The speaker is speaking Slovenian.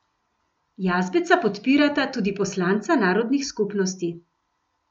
Jazbeca podpirata tudi poslanca narodnih skupnosti.